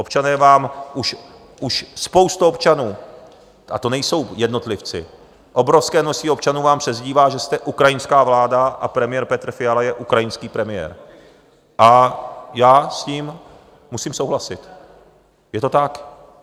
Občané vám, už spousta občanů, a to nejsou jednotlivci, obrovské množství občanů vám přezdívá, že jste ukrajinská vláda a premiér Petr Fiala je ukrajinský premiér, a já s tím musím souhlasit, je to tak.